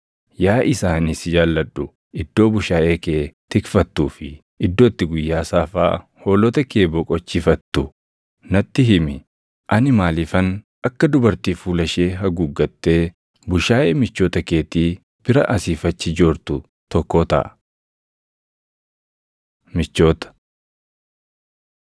Yaa isa ani si jaalladhu, iddoo bushaayee kee tikfattuu fi iddoo itti guyyaa saafaa hoolota kee boqochiifattu natti himi. Ani maaliifan akka dubartii fuula ishee haguugattee bushaayee michoota keetii bira asii fi achi joortu tokkoo taʼa? Michoota